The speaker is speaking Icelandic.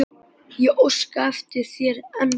Ég óska eftir þér ennþá.